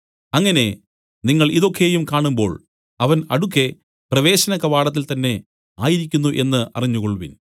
അങ്ങനെ നിങ്ങൾ ഇതു ഒക്കെയും കാണുമ്പോൾ അവൻ അടുക്കെ പ്രവേശനകവാടത്തിൽ തന്നേ ആയിരിക്കുന്നു എന്നു അറിഞ്ഞുകൊൾവിൻ